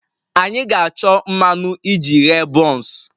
Anyị ga-achọ mmanụ iji ghee buns